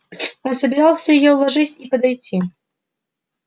он собирался её уложить и подойти